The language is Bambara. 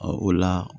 o la